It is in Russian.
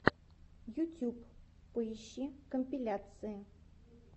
ютюб поищи компиляции